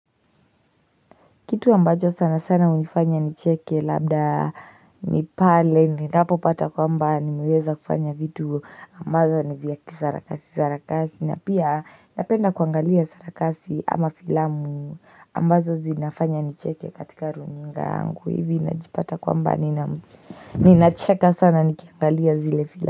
Kitu ambacho sana sana hunifanya nicheke labda ni pale ninapopata kwamba nimeweza kufanya vitu ambazo ni vya kisarakasi sarakasi na pia napenda kuangalia sarakasi ama filamu ambazo zinafanya nicheke katika runinga yangu hivi najipata kwamba ninacheka sana nikiangalia zile filamu.